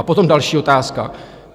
A potom další otázka.